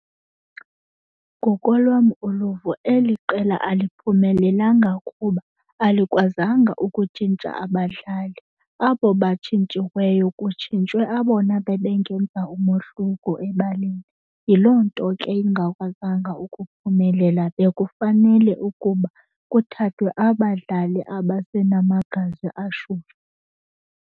Ngokolwam uluvo eli qela aliphumelelanga kuba alikwazanga ukutshintsha abadlali. Abo batshintshiweyo kutshintshwe abona bebengenza umohluko ebaleni. Yiloo nto ke lingakwazanga ukuphumelela. Bekufanele ukuba kuthathwe abadlali abasenamagazi ashushu.